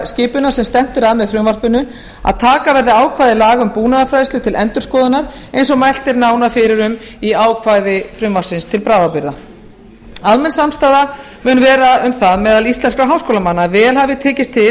skipanar sem stefnt er að með frumvarpinu að taka verði ákvæði laga um búnaðarfræðslu til endurskoðunar eins og mælt er nánar fyrir um í ákvæði frumvarpsins til bráðabirgða almenn samstaða mun vera um það meðal íslenskra háskólamanna að vel hafi tekist til